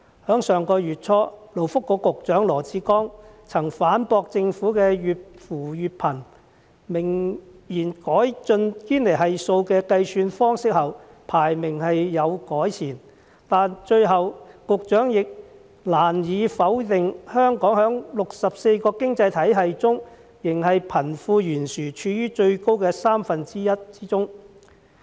在上月初，勞工及福利局局長羅致光曾反駁政府越扶越貧的說法，明言改進堅尼系數的計算方式後，本港排名是有改善的，但最後局長亦難以否定香港在64個經濟體系中，仍是貧富懸殊處於最高的三分之一之中。